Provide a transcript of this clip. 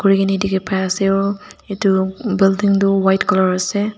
bikini dekhi pai ase aru etu building tu white colour ase.